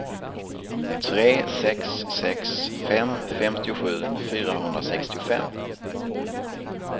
tre sex sex fem femtiosju fyrahundrasextiofem